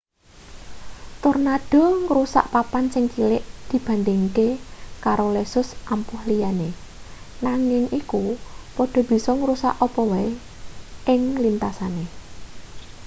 tornado ngrusak papan sing cilik dibandhingake karo lesus ampuh liyane nanging iku padha bisa ngrusak apa wae ing lintasane